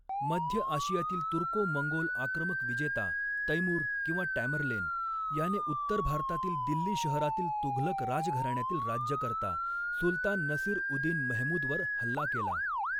मध्य आशियातील Turco Mongol आक्रमक विजेता तैमूर किंवा टॅमरलेन, याने उत्तर भारतातील दिल्ली शहरातील तुघलक राजघराण्यातील राज्यकर्ता सुलतान नसीर उदिन मेहमूदवर हल्ला केला.